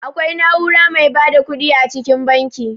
Akwai na'ura mai ba da ƙuɗi a cikin banki.